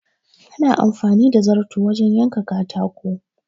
Ana amfani da zarto wajen yanka katako.